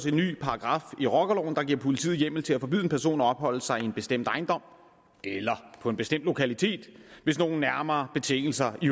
en ny paragraf i rockerloven der giver politiet hjemmel til at forbyde en person at opholde sig i en bestemt ejendom eller på en bestemt lokalitet hvis nogle nærmere betingelser i